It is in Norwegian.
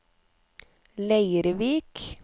Leirvik